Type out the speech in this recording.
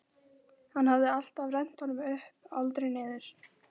Hann hafði alltaf rennt honum upp, aldrei niður.